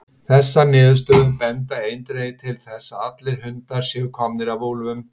Þessar niðurstöður benda eindregið til þess að allir hundar séu komnir af úlfum.